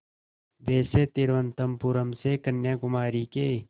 वैसे तिरुवनंतपुरम से कन्याकुमारी के